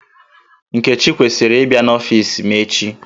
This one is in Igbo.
Nkechi kwesiri ị bia n'ọfis m echi